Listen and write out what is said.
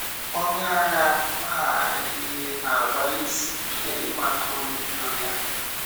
Onye agha maara ihe na-agbalịsị ike ịmata onye ìrò ya.